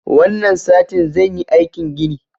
Wannan satin zan yi aikin gini.